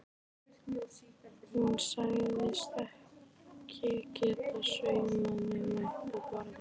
Hún sagðist ekki geta saumað nema uppi á borði.